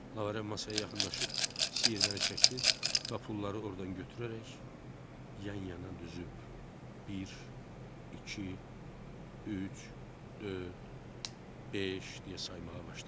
Lavrent masaya yaxınlaşıb siyirməni çəkdi və pulları ordan götürərək yan-yana düzüb bir, iki, üç, dörd, beş deyə saymağa başladı.